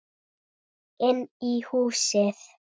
Inn í húsið?